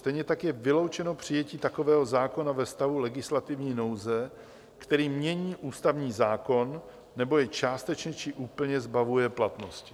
Stejně tak je vyloučeno přijetí takového zákona ve stavu legislativní nouze, který mění ústavní zákon nebo jej částečně či úplně zbavuje platnosti.